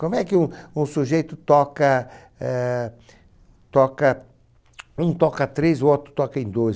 Como é que um um sujeito toca eh... Toca... Um toca três, o outro toca em dois.